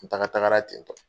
N taaga taagara tentɔ.